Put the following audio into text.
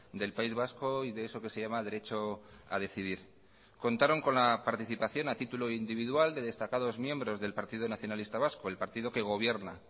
del país vasco y de eso que se llama derecho a decidir contaron con la participación a título individual de destacados miembros del partido nacionalista vasco el partido que gobierna